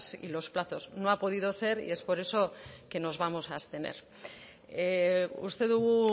y los plazos no ha podido ser y es por eso que nos vamos a abstener uste dugu